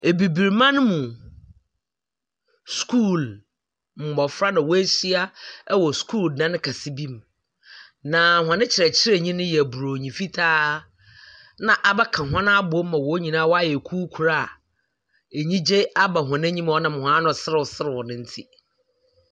Abibiri man mu asua fo mmofra na wa ahyia wɔ sua dan kese bi mu na wɔn kyerɛkyerɛni no yɛ broni fitaa na wa abɛka wɔn nyinaa abom ama wɔn nyinaa wa ayɛ kuo koro a anigye wɔn anim ama wɔn nam a wano serew serew no nti.